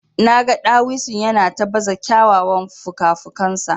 Naga dawisun yana ta baza kyawawan fukafukansa.